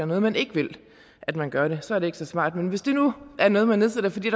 noget man ikke vil at man gør det så er det ikke så smart men hvis det nu er noget man nedsætter fordi